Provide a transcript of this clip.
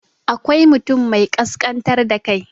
akwai mutum mai kaskantar da kai